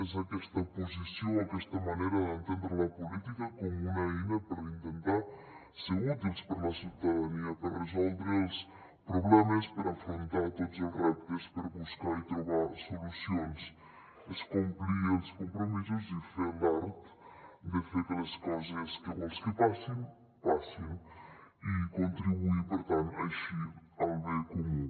és aquesta posició aquesta manera d’entendre la política com una eina per intentar ser útils per a la ciutadania per resoldre els problemes per afrontar tots els reptes per buscar i trobar solucions és complir els compromisos i fer l’art de fer que les coses que vols que passin i contribuir per tant així al bé comú